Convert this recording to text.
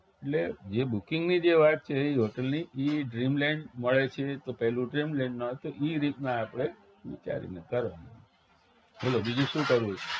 એટલે જે booking ની જે વાત છે hotel ની ઈ dreamland મળે છે તો પેલું dreamland નથ ઈ રીતના આપણે વિચારીને કરવાનું બોલો બીજું શું કરવું છે